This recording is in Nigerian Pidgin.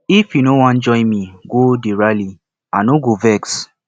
if you no wan join me go the rally i no go vex